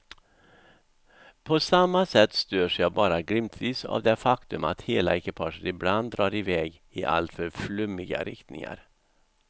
På samma sätt störs jag bara glimtvis av det faktum att hela ekipaget ibland drar i väg i alltför flummiga riktningar.